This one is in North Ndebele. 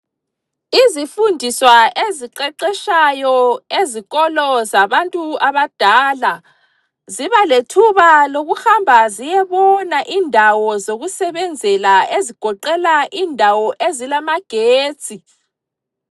Izifundiswa eziqeqetshayo ezikolo zabantu abadala zibalethuba lokuhamba ziyebona indawo zokusebenzela ezigoqela indawo ezilamagetsi.